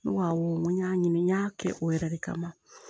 N ko awɔ n ko n y'a ɲini n y'a kɛ o yɛrɛ de kama